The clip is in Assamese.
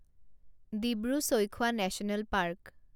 Dibru Saikhowa national park